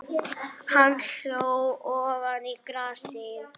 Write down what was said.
Hann hló ofan í grasið.